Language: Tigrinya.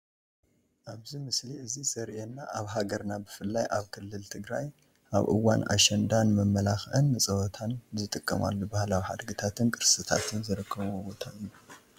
ኣብዚ ምስሊ እዚ ዘሪኤና ኣብ ሃገርና ብፍላይ ኣብ ክልል ትግራይ ኣብ እዋን ኣሸንዳ ንመመላኽዕን ንፀወታን ዝጥቀማሉ ባህላዊ ሓድግታትን ቅርስታትን ዝርከብዎ ቦታ እዩ፡፡